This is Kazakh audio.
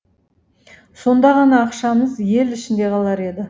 сонда ғана ақшамыз ел ішінде қалар еді